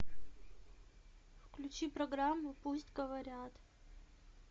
включи программу пусть говорят